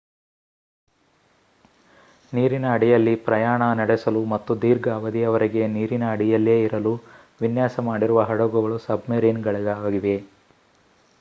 ನೀರಿನ ಅಡಿಯಲ್ಲಿ ಪ್ರಯಾಣ ನಡೆಸಲು ಮತ್ತು ದೀರ್ಘ ಅವಧಿಯವರೆಗೆ ನೀರಿನ ಅಡಿಯಲ್ಲೇ ಇರಲು ವಿನ್ಯಾಸ ಮಾಡಿರುವ ಹಡಗುಗಳು ಸಬ್‌ಮರೀನ್‌ಗಳಾಗಿವೆ